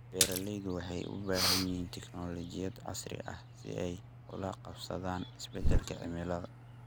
Beeraleydu waxay u baahan yihiin tignoolajiyada casriga ah si ay ula qabsadaan isbeddelka cimilada.